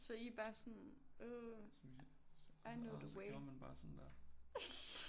Så I er bare sådan åh I know the way